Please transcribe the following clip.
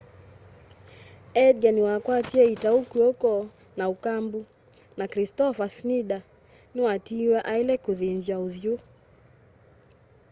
edgar niwakwatie itau kwoko na ukambu na kristoffer schneider ni watiiwe aile kuthĩnzwa uthyu